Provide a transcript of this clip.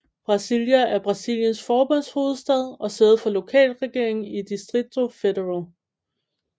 Brasília er Brasiliens forbundshovedstad og sæde for lokalregeringen i Distrito Federal